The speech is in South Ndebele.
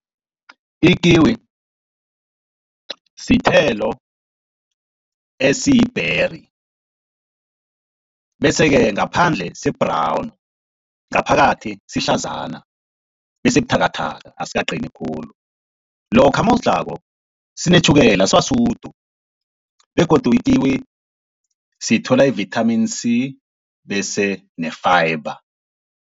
Ikiwi sithelo esiyi-berry, bese-ke ngaphandle si-brown ngaphakathi sihlazana esibuthakathaka asikaqini khulu. Lokha nawusidlako sinetjhukela siba sudu begodu ikiwi sithola i-vitamin C bese ne-fiber.